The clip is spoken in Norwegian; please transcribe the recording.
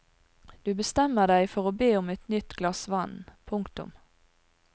Du bestemmer deg for å be om et nytt glass vann. punktum